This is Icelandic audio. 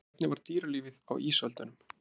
Hvernig var dýralífið á ísöldunum?